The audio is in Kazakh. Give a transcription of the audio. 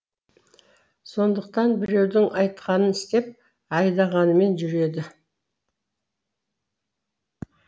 сондықтан біреудің айтқанын істеп айдағанымен жүреді